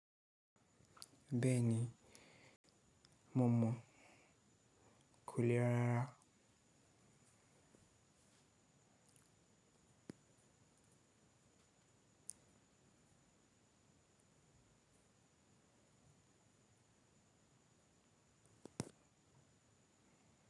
Bẹ́ẹ̀ni, mo mọ. Ko le rárá.